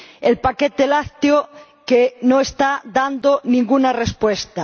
El paquete lácteo que no está dando ninguna respuesta.